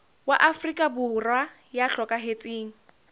wa afrika borwa ya hlokahetseng